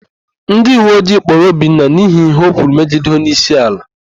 Ndịuweojii kpụụrụ Obinna n'ihi íhé o kwuru megide onyeísíala.